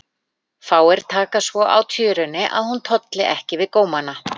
Fáir taka svo á tjörunni að hún tolli ekki við gómana.